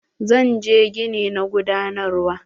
Zan je gini na gudanarwa.